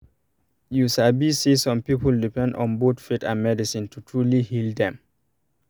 you sabi say some people depend on both faith and medicine to truly heal them